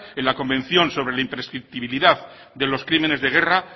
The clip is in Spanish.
en la convención sobre la imprescriptibilidad de los crímenes de guerra